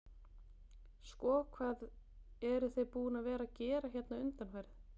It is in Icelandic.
Sko hvað eruð þið búin að vera að að gera hérna undanfarið?